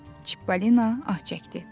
Çippolino ah çəkdi.